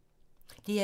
DR2